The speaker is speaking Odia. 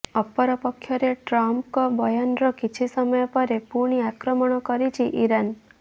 ଅପରପକ୍ଷରେ ଟ୍ରମ୍ପଙ୍କ ବୟାନର କିଛି ସମୟ ପରେ ପୁଣି ଆକ୍ରମଣ କରିଛି ଇରାନ